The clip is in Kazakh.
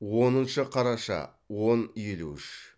оныншы қараша он елу үш